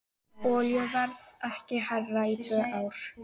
Olíuverð ekki hærra í tvö ár